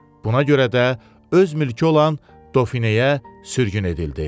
Buna görə də öz mülkü olan Dofineyə sürgün edildi.